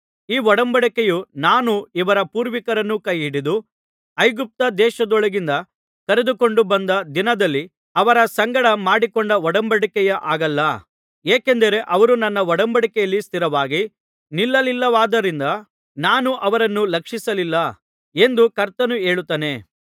ಈ ಒಡಂಬಡಿಕೆಯು ನಾನು ಇವರ ಪೂರ್ವಿಕರನ್ನು ಕೈಹಿಡಿದು ಐಗುಪ್ತ ದೇಶದೊಳಗಿನಿಂದ ಕರೆದುಕೊಂಡು ಬಂದ ದಿನದಲ್ಲಿ ಅವರ ಸಂಗಡ ಮಾಡಿಕೊಂಡ ಒಡಂಬಡಿಕೆಯ ಹಾಗಲ್ಲ ಏಕೆಂದರೆ ಅವರು ನನ್ನ ಒಡಂಬಡಿಕೆಯಲ್ಲಿ ಸ್ಥಿರವಾಗಿ ನಿಲ್ಲಲಿಲ್ಲವಾದ್ದರಿಂದ ನಾನು ಅವರನ್ನು ಲಕ್ಷಿಸಲಿಲ್ಲ ಎಂದು ಕರ್ತನು ಹೇಳುತ್ತಾನೆ